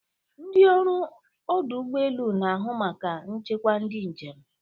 Ndị ọrụ ọdụ ụgbọ elu na-ahụ maka nchekwa ndị njem.